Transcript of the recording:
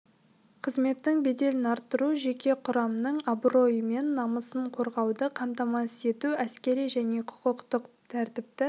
қызметтің беделін арттыру жеке құрамның абыройы мен намысын қорғауды қамтамасыз ету әскери және құқықтық тәртіпті